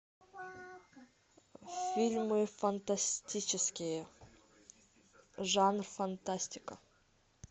фильмы фантастические жанр фантастика